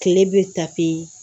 Tile bɛ